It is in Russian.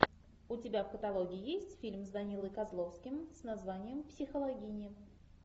у тебя в каталоге есть фильм с данилой козловским с названием психологини